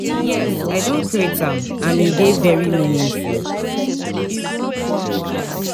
Yes, i don create am, and e dey very meaningful.